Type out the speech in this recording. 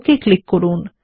okay click করুন